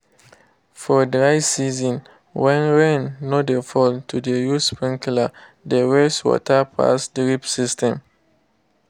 for dry season when rain no dey fall to dey use sprinkler dey waste water pass drip system